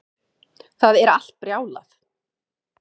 Það er allt brjálað